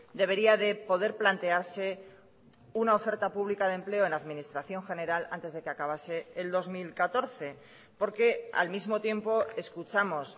debería de poder plantearse una oferta pública de empleo en administración general antes de que acabase el dos mil catorce porque al mismo tiempo escuchamos